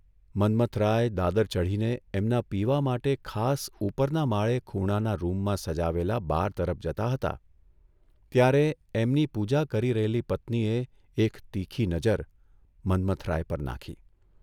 મન્મથરાય દાદર ચઢીને એમના પીવા માટે ખાસ ઉપરના માળે ખૂણાના રૂમમાં સજાવેલા બાર તરફ જતા હતા ત્યારે એમની પૂજા કરી રહેલી પત્નીએ એક તીખી નજર, મન્મથરાય પર નાંખી.